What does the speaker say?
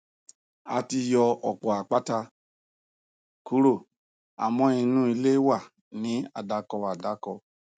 a ti yọ ọpọ àpáta kúrò àmọ inú ilé wa ni àdàkọ àdàkọ